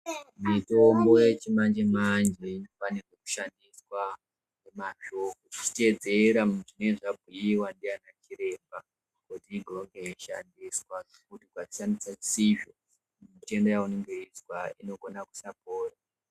Mitombo yechimanje-manje pane yoshandiswa nemazvo uchiteedzera zvinenge zvabhuiwa ndiana chiremba kuti ikashandiswa zvisizvo mitenda yainenge weizwa inogona kusapora.